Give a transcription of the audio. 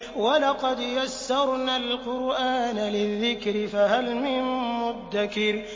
وَلَقَدْ يَسَّرْنَا الْقُرْآنَ لِلذِّكْرِ فَهَلْ مِن مُّدَّكِرٍ